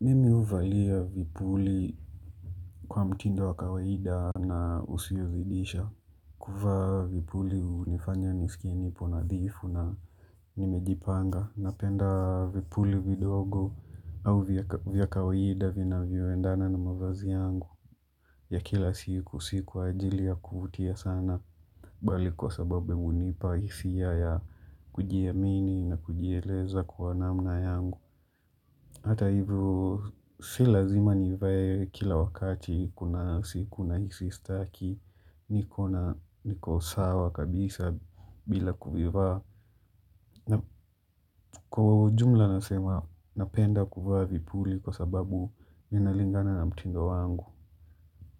Mimi huvalia vipuli kwa mtindo wa kawaida na usiozidisha. Kuvaa vipuli hunifanya nisikieni ponadhifu na nimejipanga. Napenda vipuli vidogo au vya kawaida vina vioendana na mavazi yangu. Ya kila siku, siku ajili ya kuvutia sana. Bali kwa sababe hunipa hisia ya kujiamini na kujieleza kwa namna yangu. Hata hivu, silazima nivae kila wakati, kuna siku na hisi staki, niko sawa kabisa bila kuvivaa. Kwa jumla nasema, napenda kuivaa vipuli kwa sababu inalingana na mtindo wangu